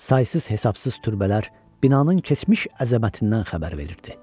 Saysız-hesabsız türbələr binanın keçmiş əzəmətindən xəbər verirdi.